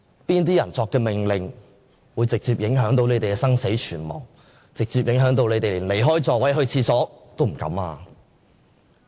哪些人下的命令會直接影響他們的生死存亡，直接影響他們連離座上廁所也不敢？